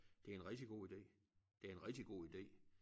Det en rigtig god ide det en rigtig god ide